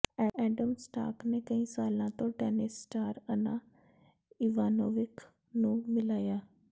Adam Scott ਨੇ ਕਈ ਸਾਲਾਂ ਤੋਂ ਟੈਨਿਸ ਸਟਾਰ ਅਨਾ ਇਵਾਨੋਵਿਕ ਨੂੰ ਮਿਲਾਇਆ